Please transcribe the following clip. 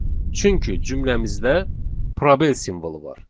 Çünki cümləmizdə probel simvolu var.